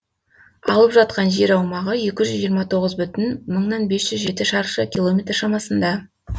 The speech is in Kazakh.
алып жатқан жер аумағы екі жүз жиырма тоғыз бүтін бес жүз жеті шаршы километр шамасында